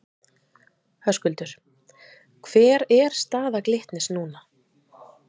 Höskuldur: Hver er staða Glitnis núna?